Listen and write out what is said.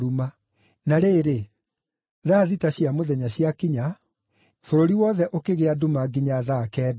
Na rĩrĩ, thaa thita cia mũthenya ciakinya, bũrũri wothe ũkĩgĩa nduma nginya thaa kenda.